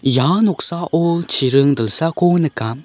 ia noksao chiring dilsako nika.